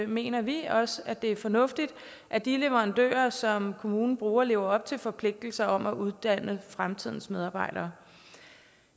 mener vi også at det er fornuftigt at de leverandører som kommunen bruger lever op til forpligtelser om at uddanne fremtidens medarbejdere